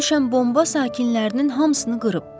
Bura düşən bomba sakinlərinin hamısını qırıb.